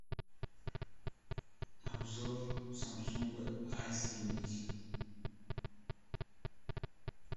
обзор самсунга а семьдесят